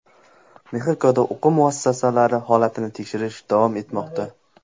Mexikoda o‘quv muassasalari holatini teshirish davom etmoqda.